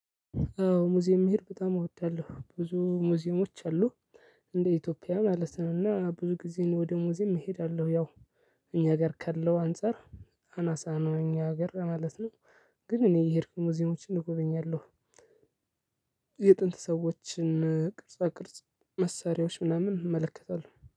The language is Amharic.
አዎ ሙዚየም መሄድ በጣም እወዳለሁ። ብዙ ሙዚየሞች አሉ፣ እንደ ኢትዮጵያ ማለት ነው እና ብዙ ጊዜ ወደ ሙዚየም እሄዳለሁ፤ ያው እኛ ሀገር ካለው አንፃር አናሳ ነው እኛ ሀገር ማለት ነው ግን እኔ እየሄድኩኝ ሙዚየሞችን እጎበኛለሁ። የጥንት ሰዎችን ቅርጽ ቅርጽ መሳሪያዎች ምናምን እመለከታለሁ።